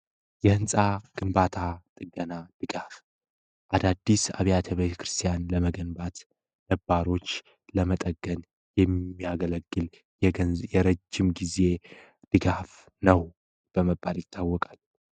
የህንፃ ግንባታ ጥገና ድጋሕፍ አዳዲስ አብያተ በተክርስቲያን ለመገንባት ነባሮች ለመጠገን የሚያገለግል የረጅም ጊዜ ድጋሕፍ ነው በመባድ ይታወቃል።